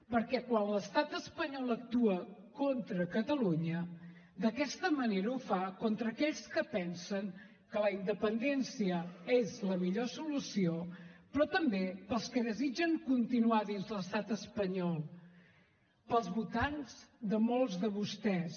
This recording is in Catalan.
perquè quan l’estat espanyol actua contra catalunya d’aquesta manera ho fa contra aquells que pensen que la independència és la millor solució però també per als que desitgen continuar dins l’estat espanyol per als votants de molts de vostès